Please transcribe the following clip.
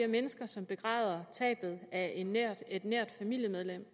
mennesker som begræder tabet af et nært familiemedlem